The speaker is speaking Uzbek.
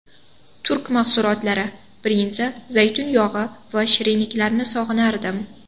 Turk mahsulotlari: brinza, zaytun yog‘i va shirinliklarini sog‘inardim.